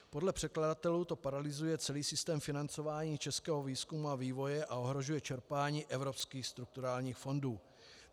Podle předkladatelů to paralyzuje celý systém financování českého výzkumu a vývoje a ohrožuje čerpání evropských strukturálních fondů.